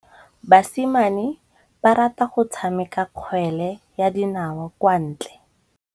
Basimane ba rata go tshameka kgwele ya dinaô kwa ntle.